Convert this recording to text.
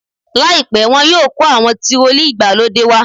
Láìpẹ́ wọ́n yóò kó àwọn tirọlí ìgbàlódé wá.